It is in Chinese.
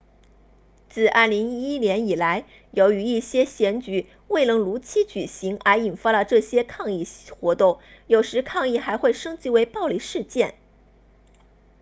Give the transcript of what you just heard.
自2011年以来由于一些选举未能如期举行而引发了这些抗议活动有时抗议还会升级为暴力事件